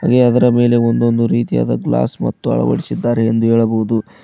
ಅದರ ಮೇಲೆ ಒಂದೊಂದು ರೀತಿಯಾದ ಗ್ಲಾಸ್ ಮತ್ತು ಅಳವಡಿಸಿದ್ದಾರೆ ಎಂದು ಹೇಳಬಹುದು.